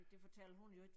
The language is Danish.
Det fortæller hun jo ikke